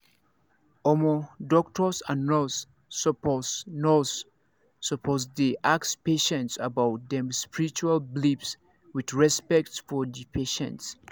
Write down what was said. omo doctors and nurse supposed nurse supposed dey ask patients about them spiritual beliefs with respect for the patient